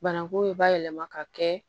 Banakun bayɛlɛma ka kɛ